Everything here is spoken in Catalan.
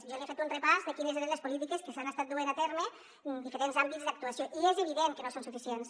jo li he fet un repàs de quines eren les polítiques que s’han estat duent a terme en diferents àmbits d’actuació i és evident que no són suficients